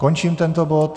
Končím tento bod.